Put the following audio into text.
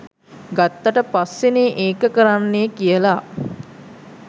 ගත්තට පස්සෙනේ ඒක කරන්නේ කියලා.